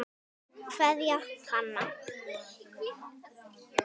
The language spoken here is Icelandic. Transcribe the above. Kveðja, Hanna.